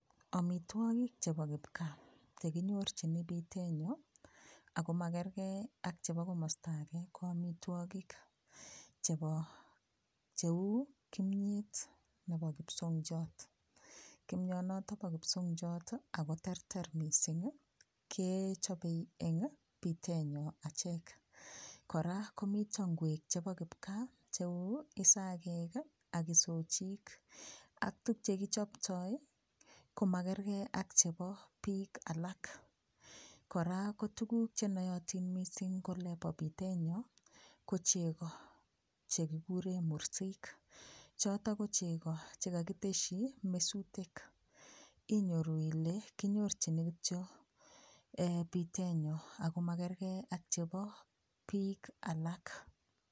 Amitwokik chebo kipkaa chekinyorchini bitenyo akomakerge ak chebo komosta age ko amitwokik chebo cheu kimiet nebo kipsongiot kimionoto po kipsongiot koterter mosiy kechopei en bitenyo achek kora komito nguek chebo kipkaa cheu isagek ak isochiik ak tukchekichaptai komakergei ak chebo biik alak. Kora ko tuguuk chenaatin mising en bitenyo ko chego chekikure mursik choto ko chego chekakiteshi mesutik inyoru ile kinyorchini kityo bitenyo akomakerge ak chebo biik alak.